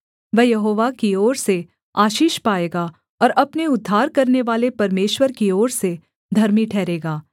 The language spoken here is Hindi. वह यहोवा की ओर से आशीष पाएगा और अपने उद्धार करनेवाले परमेश्वर की ओर से धर्मी ठहरेगा